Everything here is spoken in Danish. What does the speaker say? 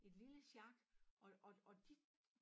Et lille sjak og og og de